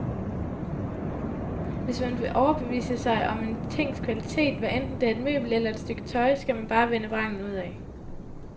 Hvis man vil overbevise sig om en tings kvalitet, hvadenten det er et møbel eller et stykke tøj, skal man bare vende vrangen udad.